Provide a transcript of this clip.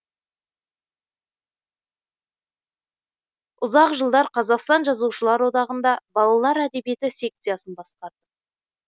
ұзақ жылдар қазақстан жазушылар одағында балалар әдиебиеті секциясын басқарды